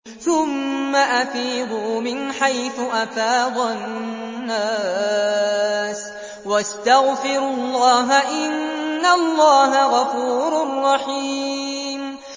ثُمَّ أَفِيضُوا مِنْ حَيْثُ أَفَاضَ النَّاسُ وَاسْتَغْفِرُوا اللَّهَ ۚ إِنَّ اللَّهَ غَفُورٌ رَّحِيمٌ